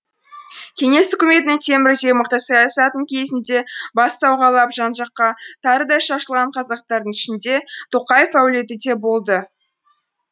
кеңес үкіметінің темірдей мықты саясатының кезінде бас сауғалап жан жаққа тарыдай шашылған қазақтардың ішінде тоқаев әулеті де болды